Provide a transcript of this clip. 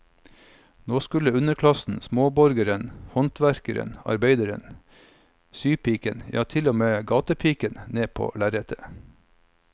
Nå skulle underklassen, småborgeren, håndverkeren, arbeideren, sypiken, ja til og med gatepiken ned på lerretet.